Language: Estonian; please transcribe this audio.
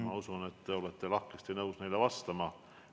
Ma usun, et te olete lahkesti nõus neile vastama.